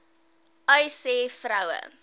uys sê vroue